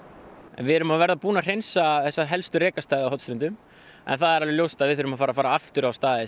við erum að verða búin að hreinsa þessa helstu rekastaði á Hornströndum en það er alveg ljóst að við þurfum að fara að fara aftur á staði